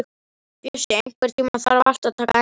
Bjössi, einhvern tímann þarf allt að taka enda.